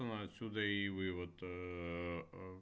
отсюда и вывод